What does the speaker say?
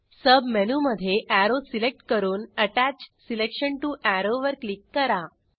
सबमेनूमधे arrow select करून attach selection टीओ arrow वर क्लिक करा